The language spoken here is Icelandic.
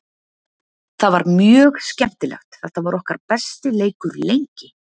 Það var mjög skemmtilegt, þetta var okkar besti leikur lengi.